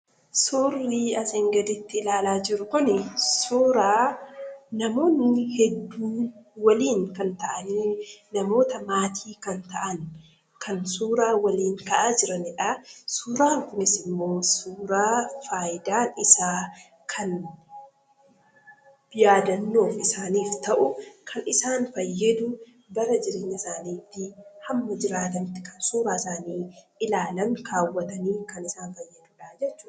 Suurri asiin gaditti ilaalaa jirru Kunii, suura namoonni hedduun waliin kan ta'anii namoota maatii kan ta'an kan suuraa waliin ka'aa jiranidha. Suuraan kunis immoo suuraa fayidaan isaa kan yaadannoo isaaniif ta'u kan isaan fayyadu, bara jireenya isaaniitti, hamma jiraatanitti kan suuraa isaanii isaanii ilaalan kaawwatanii kan isaan fayyaduudha jechuudha